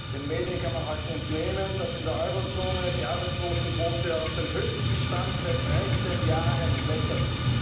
Den Medien kann man heute entnehmen, dass in der Euro Zone die Arbeitslosenquote auf den höchsten Stand seit dreizehn Jahren klettert.